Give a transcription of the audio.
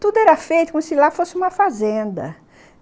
Tudo era feito como se lá fosse uma fazenda.